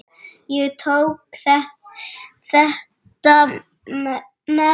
Ég tók þetta nærri mér.